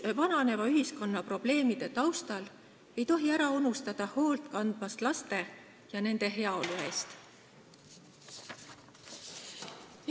Vananeva ühiskonna probleemide taustal ei tohi ära unustada, et laste ja nende heaolu eest tuleb hoolt kanda.